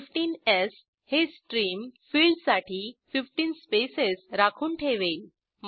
15स् हे स्ट्रीम फिल्डसाठी 15 स्पेसेस राखून ठेवेल